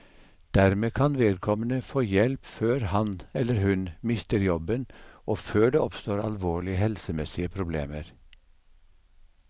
Dermed kan vedkommende få hjelp før han, eller hun, mister jobben og før det oppstår alvorlige helsemessige problemer.